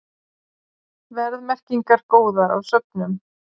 Verðmerkingar góðar á söfnum